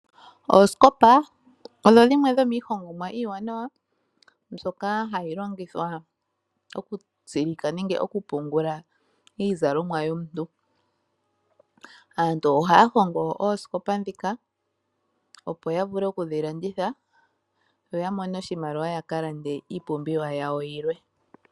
Oosikopa odho dhimwe dhomiihongomwa iiwanawa mbyoka hayi longithwa okutsilika nenge okupungula iizalomwa yomuntu. Aantu ohaya hongo oosikopa ndhika opo ya vule okudhi landitha yo ya mone oshimaliwa ya ka lande iipumbiwa yawo yilwe.